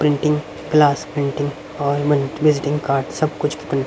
printing class printing और visiting card सब कुछ--